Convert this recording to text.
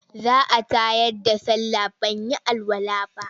Za a tayar da sallah ban yi alwala ba.